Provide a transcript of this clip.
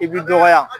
I b'i dɔgɔya